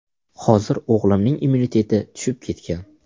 Hozir o‘g‘limning immuniteti tushib ketgan.